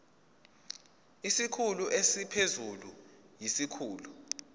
isikhulu esiphezulu siyisikhulu